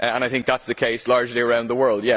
I think that is the case largely around the world.